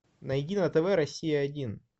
найди на тв россия один